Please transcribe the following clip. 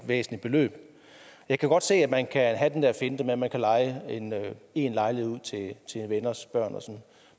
væsentligt beløb jeg kan godt se at man kan have den der finte med at man kan leje én lejlighed ud til venners børn